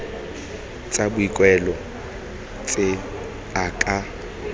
tsa boikuelo tse a ka